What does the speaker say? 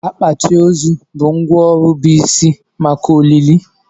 Akpati ozu bụ ngwá ọrụ bụ isi maka olili.